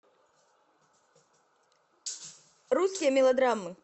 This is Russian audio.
русские мелодрамы